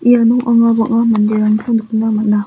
iano anga bang·a manderangko nikna man·a.